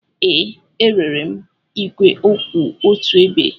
Ee, erere m igwe kwụ otu ebe.